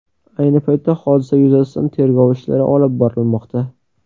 Ayni paytda hodisa yuzasidan tergov ishlari olib borilmoqda.